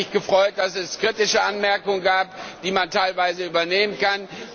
Ich habe mich gefreut, dass es kritische Anmerkungen gab, die man teilweise übernehmen kann.